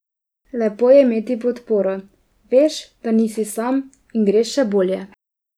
Lepo je imeti podporo, veš, da nisi sam in greš še bolje.